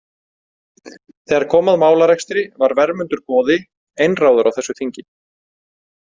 Þegar kom að málarekstri var Vermundur goði einráður á þessu þingi.